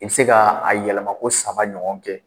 I bɛ se ka a yɛlɛmako saba ɲɔgɔn kɛ.